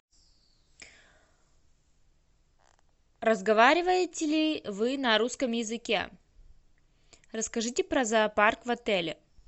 разговариваете ли вы на русском языке расскажите про зоопарк в отеле